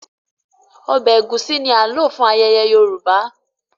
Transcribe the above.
Ọbẹ̀ egusi ní ti a lò fún ayẹyẹ Yorùbá